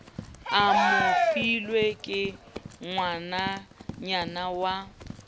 a mofilwe ke ngwananyana ya